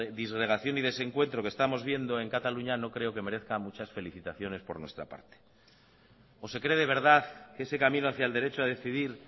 disgregación y desencuentro que estamos viendo en cataluña no creo que merezca muchas felicitaciones por nuestra parte o se cree de verdad que ese camino hacía el derecho a decidir